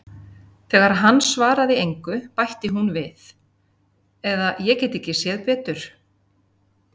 Þegar hann svaraði engu bætti hún við: eða ég get ekki séð betur.